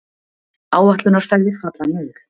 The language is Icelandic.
Áætlunarferðir falla niður